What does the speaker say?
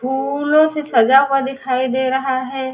फूलों से सजा हुआ दिखाई दे रहा है।